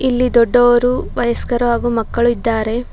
ಇಲ್ಲಿ ದೊಡ್ಡವರು ವಯಸ್ಕರು ಹಾಗು ಮಕ್ಕಳು ಇದ್ದಾರೆ.